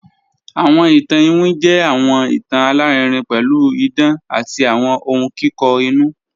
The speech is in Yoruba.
Awọn ìtàn ìwín jẹ́ awọn ìtàn alárìírìn pẹ̀lú ìdán àti awọn ọ̀hun kikọ inú